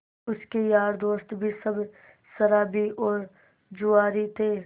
उसके यार दोस्त भी सब शराबी और जुआरी थे